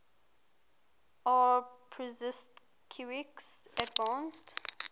aw prusinkiewicz advanced